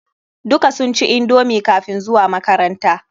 Duka sun ci indomi kafin zuwa makaranta.